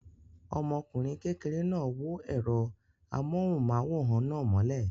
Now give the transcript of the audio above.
Ọmọkùnrin kékeré náà wó ẹ̀rọ amóhùmáwòhán náà mọ́lẹ̀.